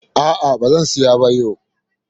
A'a, ba zan siya ba yau.